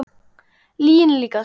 Lyginni líkast.